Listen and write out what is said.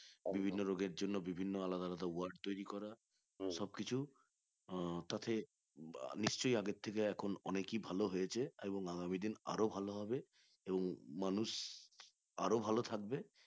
বিভিন্ন রোগের জন্য বিভিন্ন আলাদা আলাদা ward তৈরী করা সবকিছু আহ তাতে নিশ্চই আগের থেকে এখন অনেক ই ভালো হয়েছে আগামী দিনে আরো ভালো হবে তো মানুষ আরো ভালো থাকবে